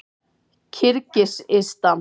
Kirgisistan